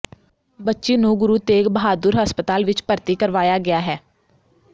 ਬੱਚੀ ਨੂੰ ਗੁਰੂ ਤੇਗ ਬਹਾਦੁਰ ਹਸਪਤਾਲ ਵਿੱਚ ਭਰਤੀ ਕਰਵਾਇਆ ਗਿਆ ਹੈ